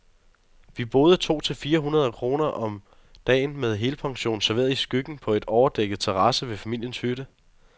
Vi boede to for fire hundrede kroner om dagen, med helpension, serveret i skyggen på en overdækket terrasse ved familiens hytte.